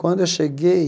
Quando eu cheguei,